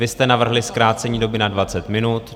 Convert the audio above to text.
Vy jste navrhli zkrácení doby na 20 minut.